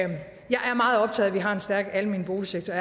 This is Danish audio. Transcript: at vi har en stærk almen boligsektor